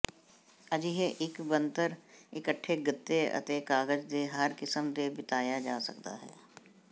ਅਜਿਹੇ ਇੱਕ ਬਣਤਰ ਇਕੱਠੇ ਗੱਤੇ ਅਤੇ ਕਾਗਜ਼ ਦੇ ਹਰ ਕਿਸਮ ਦੇ ਬਿਤਾਇਆ ਜਾ ਸਕਦਾ ਹੈ